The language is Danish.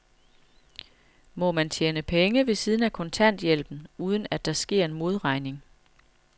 Må man tjene penge ved siden af kontanthjælpen, uden at der sker en modregning?